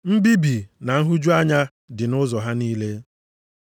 Mbibi na nhụju anya dị nʼụzọ ha niile.